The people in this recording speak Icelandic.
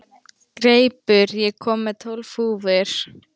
Greipur, ég kom með tólf húfur!